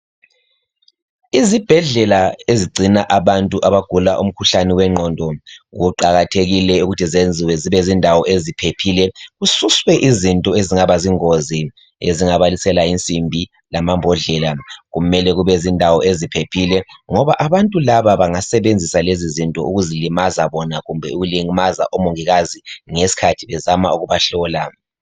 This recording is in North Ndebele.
izibhedlela ezigcina abantu abagula umkhuhlane wenqondo kuqakathekile ukuthi zenziwe zibe zindawo eziphephile kususwe izinto ezingaba yingozi ezingabalisela insimbi lamambodlela kumele kube zindawo eziphephile ngoba abantu laba bangasebenzisa lezi zinto ukuzilimaza bona kumbe ukulimaza omongikazi ngesikhathi ezama ukubahlola